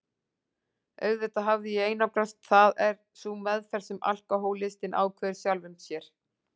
Auðvitað hafði ég einangrast, það er sú meðferð sem alkohólistinn ákveður sjálfum sér.